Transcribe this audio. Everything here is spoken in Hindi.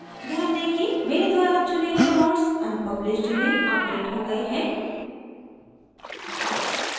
ध्यान दें कि मेरे द्वारा चुने गए nodes unpublished में अपडेट हो गये हैं